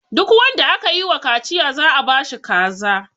Duk wanda aka yi ma kaciya za a ba shi kaza.